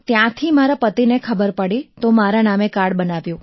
ત્યાંથી મારા પતિને ખબર પડી તો મારા નામે કાર્ડ બનાવ્યું